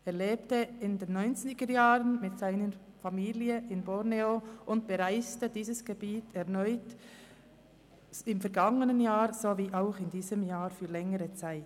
Er lebte in den 1990er-Jahren mit seiner Familie in Borneo und bereiste dieses Gebiet erneut im vergangenen und in diesem Jahr für längere Zeit.